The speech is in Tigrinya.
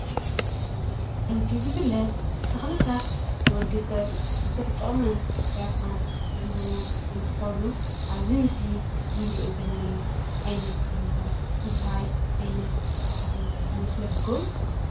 ከምቲ ዝፍለጥ ተኽልታት ንወድሰብ ብዙሕ ጥቅምን ረብሓን ዝህቡ እንትኾኑ እብዚ ምስሊ እንሪኦ ዘለና ዓይነት ተኽሊ ኸ እንታይ ዓይነት ተኽሊ ይመስለኩም?